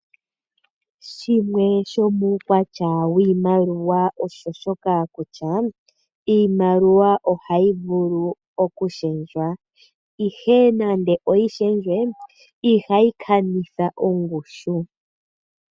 Shimwe shomuukwatya wiimaliwa osho shoka kutya iimaliwa ohayi vulu okushendjwa ihe , nande oyi shendjwe ihayi kanitha ongushu .